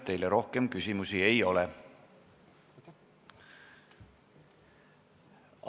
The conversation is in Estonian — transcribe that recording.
Teile rohkem küsimusi ei ole.